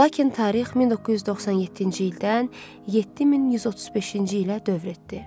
Lakin tarix 1997-ci ildən 7135-ci ilə dövr etdi.